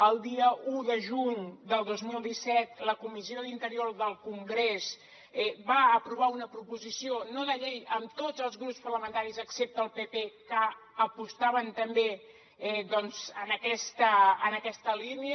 el dia un de juny del dos mil disset la comissió d’interior del congrés va aprovar una proposició no de llei amb tots els grups parlamentaris excepte el pp que apostaven també doncs per aquesta línia